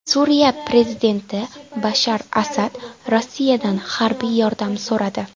Suriya prezidenti Bashar Asad Rossiyadan harbiy yordam so‘radi.